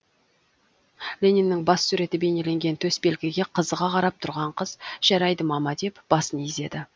лениннің бас суреті бейнеленген төсбелгіге қызыға қарап тұрған қыз жарайды мама деп басын изеді